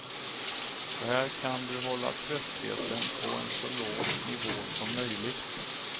Så här kan du hålla tröttheten på en så låg nivå som möjligt.